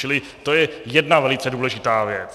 Čili to je jedna velice důležitá věc.